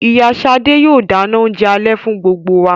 Ìyá sade yóò dáná oúnjẹ alẹ́ fún gbogbo wa.